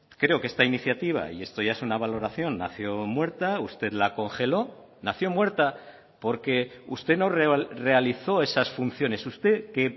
creo que esta iniciativa y esto ya es una valoración nació muerta usted la congeló nació muerta porque usted no realizó esas funciones usted que